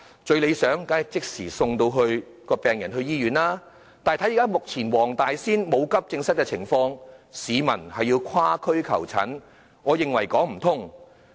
最理想的做法，當然是即時把病人送往醫院，但目前黃大仙區沒有急症室，市民要跨區求診，我認為是說不通的。